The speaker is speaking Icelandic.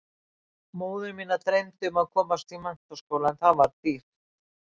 Móður mína dreymdi um að komast í menntaskóla en það var dýrt.